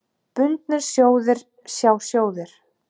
Bundnir sjóðir, sjá sjóðir